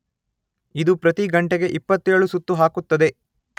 ಇದು ಪ್ರತಿ ಗಂಟೆಗೆ ಇಪ್ಪತ್ತೇಳು ಸುತ್ತು ಹಾಕುತ್ತದೆ